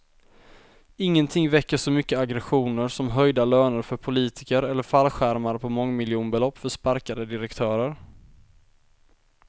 Ingenting väcker så mycket aggressioner som höjda löner för politiker eller fallskärmar på mångmiljonbelopp för sparkade direktörer.